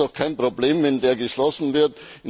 Ist doch kein Problem, wenn der geschlossen wird.